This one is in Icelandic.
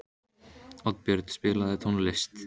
Oddbjörn, spilaðu tónlist.